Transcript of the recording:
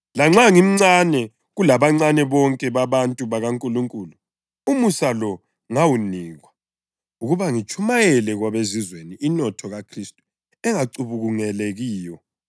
Lanxa ngimncane kulabancane bonke babantu bakaNkulunkulu, umusa lo ngawunikwa: ukuba ngitshumayele kwabeZizweni inotho kaKhristu engacubungulekiyo,